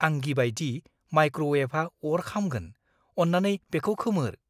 आं गिबायदि माइक्र'वेभआ अर खामगोन। अन्नानै बेखौ खोमोर।